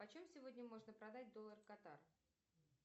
по чем сегодня можно продать доллар катар